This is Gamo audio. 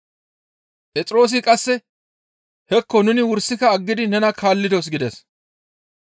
Phexroosi qasse, «Hekko; nuni wursika aggidi nena kaallidos» gides.